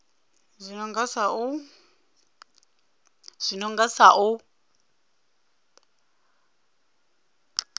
zwi no nga sa u